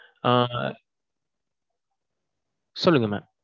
ஆ. சொல்லுங்க mam